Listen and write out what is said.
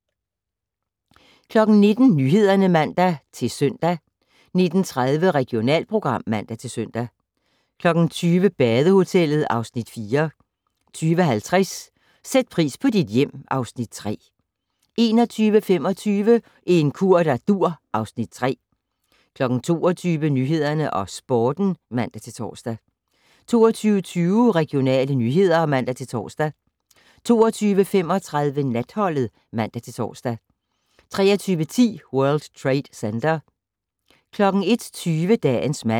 19:00: Nyhederne (man-søn) 19:30: Regionalprogram (man-søn) 20:00: Badehotellet (Afs. 4) 20:50: Sæt pris på dit hjem (Afs. 3) 21:25: En kur der dur (Afs. 3) 22:00: Nyhederne og Sporten (man-tor) 22:20: Regionale nyheder (man-tor) 22:35: Natholdet (man-tor) 23:10: World Trade Center 01:20: Dagens mand